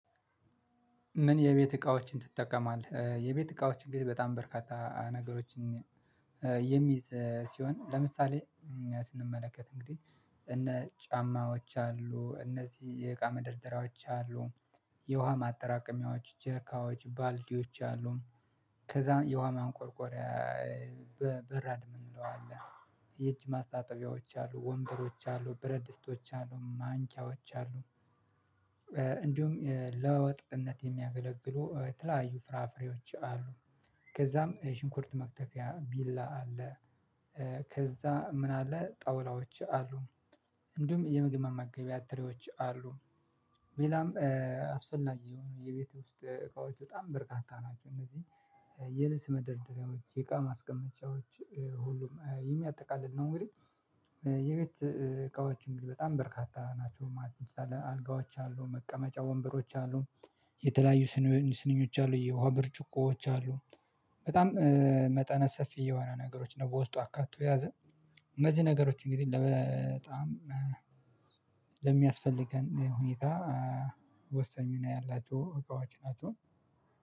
ምን የቤት እቃዎችን ትጠቀማለህ? የቤት እቃዎች እንግዲህ በጣም በርካታ ነገሮችን የሚይዝ ሲሆን ለምሳሌ ስንመለከት እንግዲህ እነ ጫማዎች አሉ እነዚህ የእቃ መደርደሪያዎች አሉ የውሃ ማጠራቀሚያዎች ጀሪካዎች ባልዲዎች አሉ ከዛም የውሃ ማንቆርቆሪያ በራድ ምን እንለዋለን ይቺ ማስታጠቢያዎች አሉ ወንበሮች አሉ ብረድስቶች አሉ ማንኪያዎች አሉ። እንዲሁም ለወጥነት የሚያገለግሉ የተለያዩ ፍራፍሬዎች አሉ። ከዛም ሽንኩርት መክተፊያ ቢላ አለ። ከዛ ምን አለ ጣውላዎች አሉ። እንዲሁም የምግብ መመገቢያ ትሬዎች አሉ። ሌላም አስፈላጊ የሆነ የቤት ውስጥ እቃዎች በጣም በርካታ ናቸው። እነዚህ የልብስ መደርደሪያዎች የቃ ማስቀመጫዎች ሁሉም የሚያጠቃልል ነው። እንግዲህ የቤት እቃዎች እንግዲህ በጣም በርካታ ናቸው ማለት ነው። አልጋዎች አሉ መቀመጫ ወንበሮች አሉ። የተለያዩ ስንኞች አሉ የውሃ ብርጭቆዎች አሉ። በጣም መጠነ ሰፊ የሆነ ነገሮች ነው በውስጡ አካቶ ያዘን። እነዚህ ነገሮች እንግዲህ ለ በጣም ለሚያስፈልገን ሁኔታ ወሰን ሚና ያላቸሁ እቃዎች ናቸው።